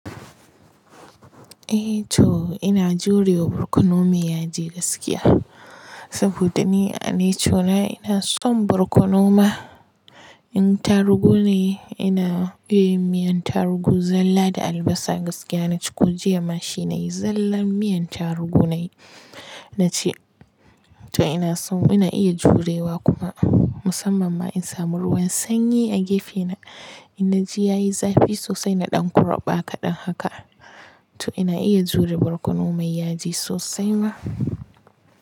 Eh to ina jure wa borkono mai yaji gaskiya. Saboda ni a nature na ina son borkono ma. In tarugu ne ina iya yin miyan tarugu zalla da albasa gaskiya na ci ko jiya ma shi na yi zallan miyan tarugu na yi. Na ci toh ina son ina iya jurewa kuma musamman ma in samu ruwan sanyi a gefe na, ina ji ya yi zafi sosai na ɗan kurɓa kaɗan haka. To ina iya jure borkono mai yaji sosai ma.